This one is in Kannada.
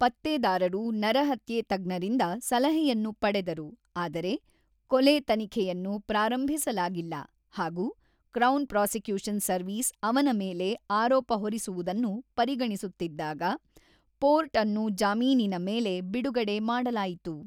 ಪತ್ತೆದಾರರು ನರಹತ್ಯೆ ತಜ್ಞರಿಂದ ಸಲಹೆಯನ್ನು ಪಡೆದರು ಆದರೆ ಕೊಲೆ ತನಿಖೆಯನ್ನು ಪ್ರಾರಂಭಿಸಲಾಗಿಲ್ಲ ಹಾಗು ಕ್ರೌನ್ ಪ್ರಾಸಿಕ್ಯೂಷನ್ ಸರ್ವಿಸ್ ಅವನ ಮೇಲೆ ಆರೋಪ ಹೊರಿಸುವುದನ್ನು ಪರಿಗಣಿಸುತ್ತಿದ್ದಾಗ, ಪೋರ್ಟ್ ಅನ್ನು ಜಾಮೀನಿನ ಮೇಲೆ ಬಿಡುಗಡೆ ಮಾಡಲಾಯಿತು.